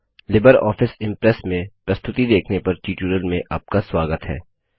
Libre office Impress में प्रस्तुति देखने पर ट्यूटोरियल में आपका स्वागत है